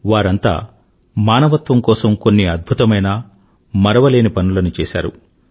వారంతా మానవత్వం కోసం కొన్ని అద్భుతమైన మరవలేని పనులను చేశారు